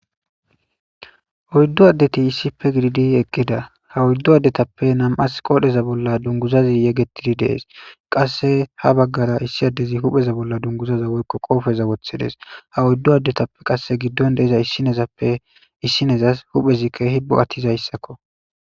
Oyidu adeti issipe gididi eqida ha oyidu adetape na'amati qas qodheza bolla dunguzazi yegetidi de'es qase ha bagara issi adezi hupheza bolla duguzaza woy qopheza wothides ha oyidu adetape gidon diza issinozapee issinozas huphey kehizi bo'atizayisako